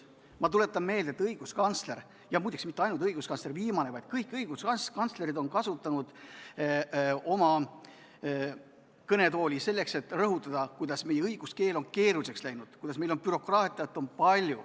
Ma tuletan meelde, et õiguskantsler – ja muide, mitte ainult viimane õiguskantsler, vaid kõik õiguskantslerid – on kasutanud kõnetooli selleks, et rõhutada, kuidas meie õiguskeel on keeruliseks läinud ja et meil on palju bürokraatiat.